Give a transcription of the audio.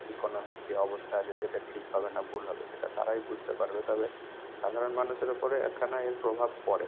economy র যে অবস্থা আছে সেটা ঠিক হবে না ভুল হবে সেটা তারাই বুঝতে পারবে। তবে সাধারণ মানুষের ওপরে একখানা এর প্রভাব পড়ে।